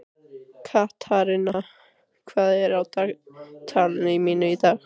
Katharina, hvað er á dagatalinu mínu í dag?